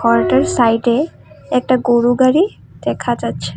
বাড়িটার সাইডে একটা গরু গাড়ি দেখা যাচ্ছে।